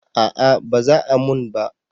A'a ba za a mun ba